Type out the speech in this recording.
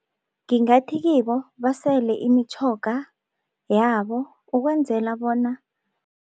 Ngingathi kibo basele imitjhoga yabo ukwenzela bona